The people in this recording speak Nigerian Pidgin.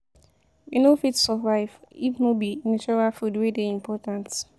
We no fit survive if no be natural food wey dey important.